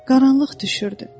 Qaranlıq düşürdü.